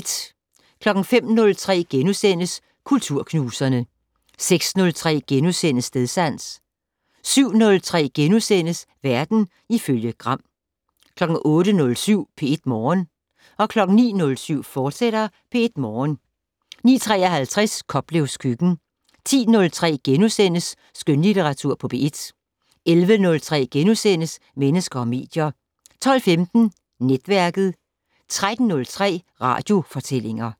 05:03: Kulturknuserne * 06:03: Stedsans * 07:03: Verden ifølge Gram * 08:07: P1 Morgen 09:07: P1 Morgen, fortsat 09:53: Koplevs køkken 10:03: Skønlitteratur på P1 * 11:03: Mennesker og medier * 12:15: Netværket 13:03: Radiofortællinger